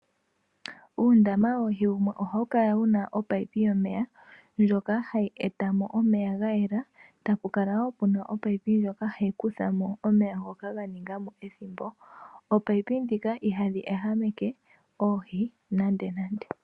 Uundama woohi wumwe ohawu kala wu na omunino gomeya ngoka hagu eta mo omeya ga yela tapu kala wo pu na omunino ngoka hagu kutha mo omeya ngoka ga ninga mo ethimbo. Ominino ndhika ihadhi ehameke oohi nandenande.